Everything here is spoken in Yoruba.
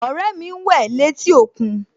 Ọ̀rẹ́ mi ń wẹ̀ létí òkún